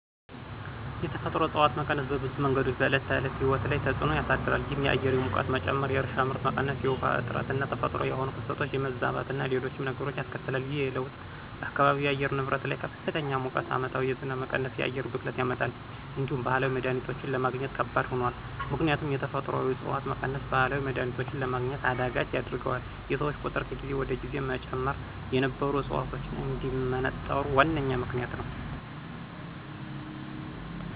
የተፈጥሮ እፅዋት መቀነስ በብዙ መንገዶች በዕለት ተዕለት ሕይወት ላይ ተፅዕኖ ያሳድራል። ይህም የአየር ሙቀት መጨመር፣ የእርሻ ምርት መቀነስ፣ የውሃ እጥረትና ተፈጥሯዊ የሆኑ ክስተቶች የመዛባትና ሌሎችም ነገሮች ያስከትላል። ይህ ለውጥ በአካባቢው የአየር ንብረት ላይ ከፍተኛ ሙቀት፣ ዓመታዊ የዝናብ መቀነስና የአየር ብክለትን ያመጣል። እንዲሁም ባህላዊ መድሀኒቶችን ለማግኘት ከባድ ሆኗል። ምክንያቱም የተፈጥሮአዊ ዕፅዋት መቀነስ ባህላዊ መድሀኒቶችን ለማግኘት አዳጋች ያደርገዋል፤ የሰዎች ቁጥር ከጊዜ ወደ ጊዜ መጨመር የነበሩ ዕፅዋቶች እንዲመነጠሩ ዋነኛ ምክንያት ነዉ።